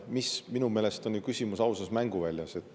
Minu meelest on küsimus ju ausas mänguväljas.